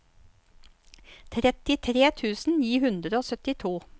trettitre tusen ni hundre og syttito